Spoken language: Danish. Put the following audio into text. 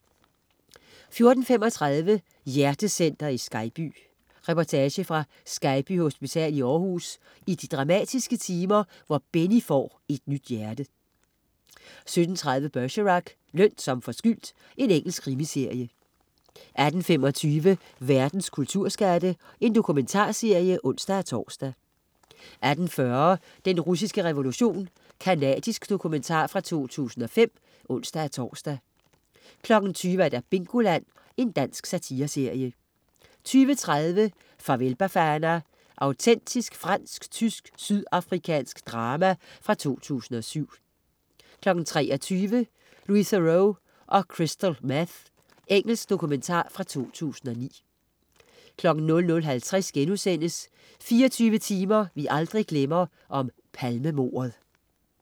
15.35 Hjertecenteret i Skejby. Reportage fra Skejby Hospital i Århus i de dramatiske timer, hvor Benny får et nyt hjerte 17.30 Bergerac: Løn som forskyldt. Engelsk krimiserie 18.25 Verdens kulturskatte. Dokumentarserie (ons-tors) 18.40 Den russiske revolution. Canadisk dokumentar fra 2005 (ons-tors) 20.00 Bingoland. Dansk satireserie 20.30 Farvel Bafana. Autentisk fransk-tysk-sydafrikansk drama fra 2007 23.00 Louis Theroux og Crystal Meth. Engelsk dokumentar fra 2009 00.50 24 timer vi aldrig glemmer: Palmemordet*